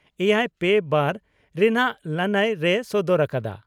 ᱮᱭᱟᱭ ᱯᱮ ᱵᱟᱨ ) ᱨᱮᱱᱟᱜ ᱞᱟᱹᱱᱟᱹᱭ ᱨᱮᱭ ᱥᱚᱫᱚᱨ ᱟᱠᱟᱫᱼᱟ ᱾